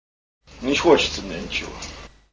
не хочется мне ничего